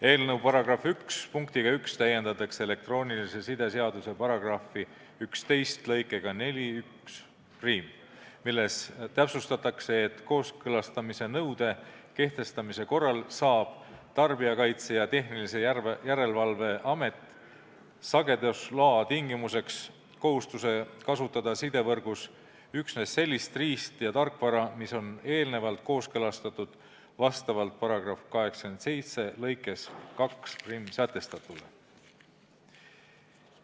Eelnõu § 1 punktiga 1 täiendatakse elektroonilise side seaduse § 11 lõikega 41, milles täpsustatakse, et kooskõlastamise nõude kehtestamise korral seab Tarbijakaitse ja Tehnilise Järelevalve Amet sagedusloa tingimuseks kohustuse kasutada sidevõrgus üksnes sellist riist- ja tarkvara, mis on eelnevalt kooskõlastatud vastavalt § 87 lõikes 21 sätestatule.